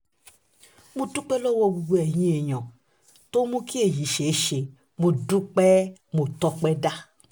mo dúpẹ́ lọ́wọ́ gbogbo eyín èèyàn tó mú kí èyí ṣeé ṣe mo dúpẹ́ mo tọ́pẹ́ dá